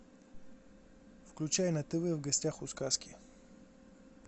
включай на тв в гостях у сказки